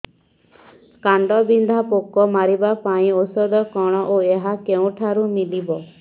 କାଣ୍ଡବିନ୍ଧା ପୋକ ମାରିବା ପାଇଁ ଔଷଧ କଣ ଓ ଏହା କେଉଁଠାରୁ ମିଳିବ